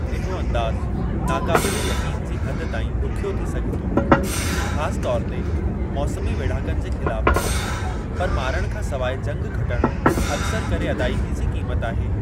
इहो अंदाज़ु नाक़ाबिले यक़ीन जी हद ताईं ॾुखियो थी सघे थो, ख़ासि तौर ते मौसमी वेढ़ाकनि जे ख़िलाफ़ु, पर मारणु खां सवाइ जंगि खटणु अक्सर करे अदाइगी जी क़ीमत आहे।